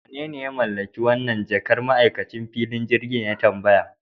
Wanene ya mallaki wannan jakar? ma'aikacin filin jirgin ya tambaya